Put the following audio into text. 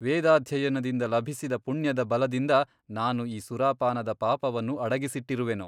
ವೇದಾಧ್ಯಯನದಿಂದ ಲಭಿಸಿದ ಪುಣ್ಯದ ಬಲದಿಂದ ನಾನು ಈ ಸುರಾಪಾನದ ಪಾಪವನ್ನು ಅಡಗಿಸಿಟ್ಟಿರುವೆನು.